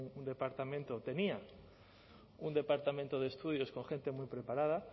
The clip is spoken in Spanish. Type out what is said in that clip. un departamento tenía un departamento de estudios con gente muy preparada